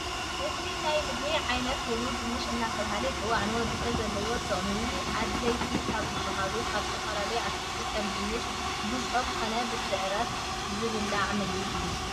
አዚ ናይ ምግብ ዓይነት ኮይኑ ድንሸ እዳተባሃለ ይፂዋዕ ንወድሰብ ዘለዎ ጥቅሚ አድለይቲ ካብ ዝባሃሉ ካብ ዝተፈላለዩ አትክሊትታት ከም ድንሸ ብፀም ከነ ብሰዒረት ዝብላዕ ምግብ እዩ።